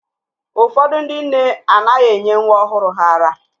Ụfọdụ ndị nne anaghị enye nwa ọhụrụ ha ara